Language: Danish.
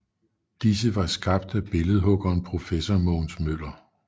Disse var skabt af billedhuggeren professor Mogens Møller